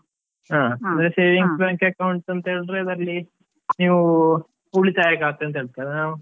ಹಾ ಅಂದ್ರೆ savings bank account ಅಂತ ಹೇಳಿದ್ರೆ ಅದರಲ್ಲಿ, ನೀವು ಉಳಿತಾಯ ಖಾತೆ ಅಂತ ಹೇಳ್ತೇವೆ ನಾವ್.